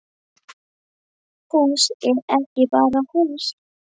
Hús er ekki bara hús